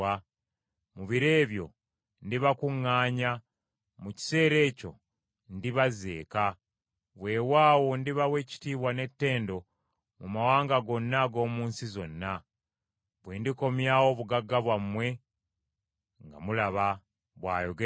Mu biro ebyo ndibakuŋŋaanya; mu kiseera ekyo ndibazza eka. Weewaawo ndibawa ekitiibwa n’ettendo mu mawanga gonna ag’omu nsi zonna, bwe ndikomyawo obugagga bwammwe nga mulaba,” bw’ayogera Mukama .